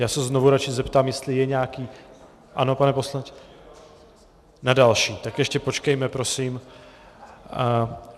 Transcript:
Já se znovu radši zeptám, jestli je nějaký - ano, pane poslanče, na další, tak ještě počkejme prosím.